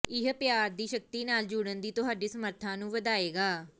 ਇਹ ਪਿਆਰ ਦੀ ਸ਼ਕਤੀ ਨਾਲ ਜੁੜਨ ਦੀ ਤੁਹਾਡੀ ਸਮਰੱਥਾ ਨੂੰ ਵਧਾਏਗਾ